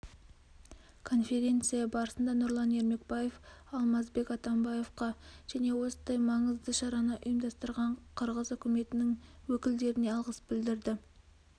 конференция барысында нұрлан ермекбаев алмазбек атамбаевқа және осындай маңызды шараны ұйымдастырған қырғыз үкіметінің өкілдеріне алғыс білдірді